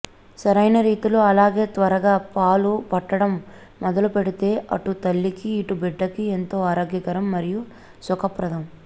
సరైన రీతిలో అలాగే త్వరగా పాలు పట్టడం మొదలుపెడితే అటు తల్లికి ఇటు బిడ్డకి ఎంతో ఆరోగ్యకరం మరియు సుఖప్రదం